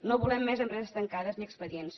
no volem més empreses tancades ni expedients